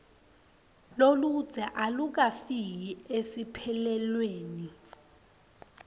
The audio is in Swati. loludze alukafiki esiphelweni